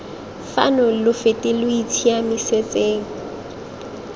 fano lo fete lo itshiamisetseng